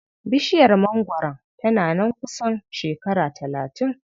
Bishiyar mangwaron tana nan kusan shekara talatin.